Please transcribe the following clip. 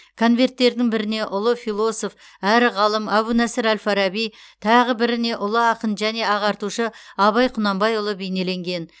конверттердің біріне ұлы философ әрі ғалым әбу насыр әл фараби тағы біріне ұлы ақын және ағартушы абай құнанбайұлы бейнеленген